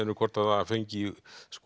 hvort það fengi